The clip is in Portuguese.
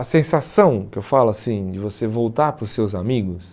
A sensação, que eu falo assim, de você voltar para os seus amigos...